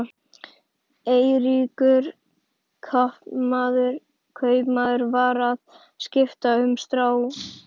Eiríkur kaupmaður var að skipta um skrá.